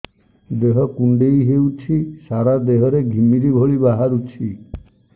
ଦେହ କୁଣ୍ଡେଇ ହେଉଛି ସାରା ଦେହ ରେ ଘିମିରି ଭଳି ବାହାରୁଛି